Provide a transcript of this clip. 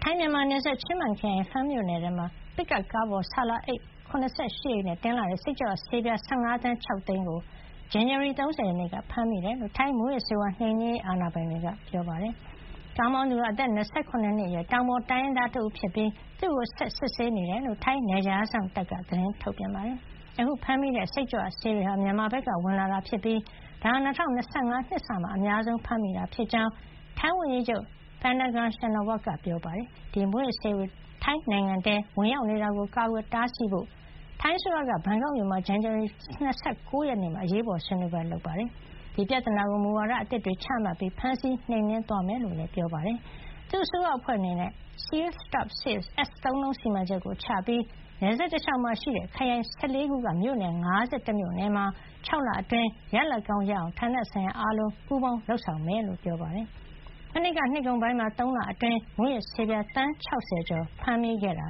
ိုင်းမြန်မာနယ်စပ် ချင်းမိုင်ခရိုင် ဖန်မြို့နယ်မှာ ပစ်ကပ်ကားပေါ် ဆာလာအိတ် ၇၈ အိတ်နဲ့ တင်လာတဲ့ စိတ်ကြွဆေးပြား ၁၅ သန်း ၆ သိန်းကို ဇန်နဝါရီ ၃၀ က ဖမ်းမိခဲ့တယ်လို့ ထိုင်း မူးယစ်ဆေးဝါးနှိမ်နင်းရေး အာဏာပိုင်တွေက ပြောပါတယ်။ ကားမောင်းသူဟာ အသက် ၂၇ နှစ်အရွယ် တောင်ပေါ်တိုင်းရင်းသားတဦးဖြစ်ပြီး သူ့ကို ဆက်လက် စစ်ဆေးနေတယ်လို့ ထိုင်း နယ်ခြားစောင့် တပ်က သတင်းထုတ်ပြန်ပါတယ်။ အခုဖမ်းမိတဲ့ စိတ်ကြွဆေးတွေဟာ မြန်မာဘက်ကဝင်လာတာ ဖြစ်ပြီး ဒါဟာ အခု ၂၀၂၅ နှစ်စမှာ အများဆုံး ဖမ်းမိတာ ဖြစ်ကြောင်း ထိုင်းဝန်ကြီးချုပ် Paetongtarn Shinawatra က ပြောပါတယ်။ ဒီမူးယစ်ဆေးတွေ ထိုင်းနိုင်ငံထဲ ဝင်ရောက်နေတာကို ကာကွယ်တားဆီးဖို့ အတွက် ထိုင်းအစိုးရက ဘန်ကောက်မြို့မှာ ဇန်နဝါရီ ၂၉ ရက်နေ့မှာ အရေးပေါ်ဆွေးနွေးပွဲပြုလုပ်ခဲ့ပြီး ဒီပြဿနာကို မူဝါဒ အသစ်တွေ ချမှတ်ပြီး ဖမ်းဆီးနှိမ်နင်း သွားမှာ ဖြစ်ကြောင်းလည်း ပြောပါတယ်။ သူ့အစိုးရ အဖွဲ့အနေနဲ့ (Seal -Stop -Safe) S သုံးလုံး စီမံချက်ကို ချမှတ်ပြီး နယ်စပ်တလျှောက်မှာရှိတဲ့ ခရိုင် ၁၄ ခုက မြို့နယ် ၅၁ မြို့နယ်မှာ ၆ လအတွင်း ရလာဒ်ကောင်း ရအောင် ဌာနဆိုင်ရာ အားလုံး ပူးပေါင်းလုပ်ဆောင်မှာ ဖြစ်ကြောင်း ပြောပါတယ်။ မနှစ်က နှစ်ကုန်ပိုင်းမှာ ၃ လအတွင်း မူးယစ်ဆေးပြား သန်း ၆၀ ကျော် ဖမ်းမိခဲ့တာ